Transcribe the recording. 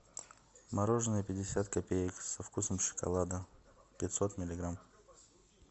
мороженое пятьдесят копеек со вкусом шоколада пятьсот миллиграмм